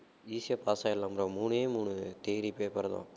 easy ஆ pass ஆயிடலாம் bro மூணே மூணு theory paper தான்